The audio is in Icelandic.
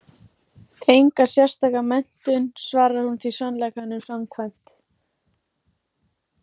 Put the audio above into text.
Enga sérstaka menntun, svarar hún því sannleikanum samkvæmt.